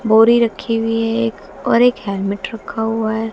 बोरी रखी हुई है एक और एक हेल्मेट रखा हुआ है।